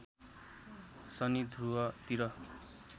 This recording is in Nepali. शनि ध्रुव तिर